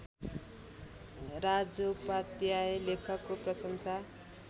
राजोपाध्याय लेखको प्रशंसा